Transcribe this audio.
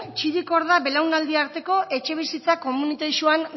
txirikorda belaunaldi arteko etxebizitza komunitarixoan